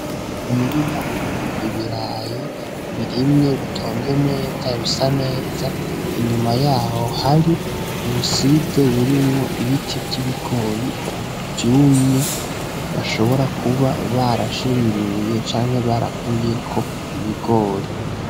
Umurima urimwo ibirayi birimye, bitonze neza, bisa neza, inyuma yaho hari ubusize burimwo ibiti vy'ibigori vyumye bashobora kuba barashinguye canke barakuyeko ibigori.